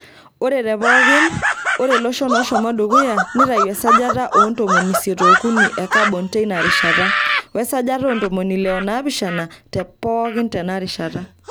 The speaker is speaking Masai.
Ore te pookin, ore loshon ooshomo dukuya neitayu esajata oo ntomoni isiet ookuni e kabon teinarishata, wesajata oontomoni ile onaapishan tepookin tena rishata.